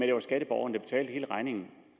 det var skatteborgerne der betalte hele regningen